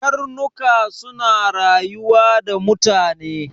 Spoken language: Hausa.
Karnuka suna rayuwa da mutane.